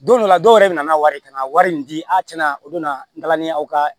Don dɔ la dɔw yɛrɛ bɛna n'a wari ka na wari in di a tiɲɛna o don na n taalan ni y'aw ka